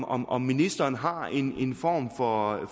om om ministeren har en form for